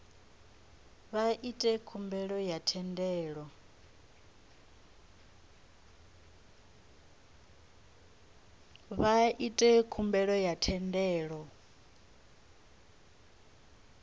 vha ite khumbelo ya thendelo